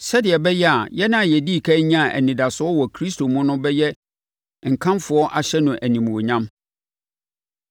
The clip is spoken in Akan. sɛdeɛ ɛbɛyɛ a yɛn a yɛdii ɛkan nyaa anidasoɔ wɔ Kristo mu no bɛyɛ nkamfo ahyɛ no animuonyam.